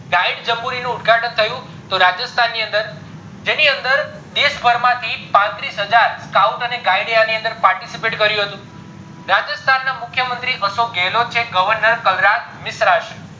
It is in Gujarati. guide નું ઉદ્ઘાટન થયું તો રાજસ્થાન ની અંદર જેની અંદર દેશ ભરમાંથી પર્તીસ હજાર scout and guide એ અણી અંદર participate કયું હતું રાજસ્થાન ના મુખ્ય મંત્રી અશોક ગેલોદ છે governor મિશ્રા છે